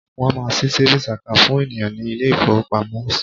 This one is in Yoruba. Wọ́n máa ṣí savings account fún ènìyàn ní ilé ìfowópamọ́.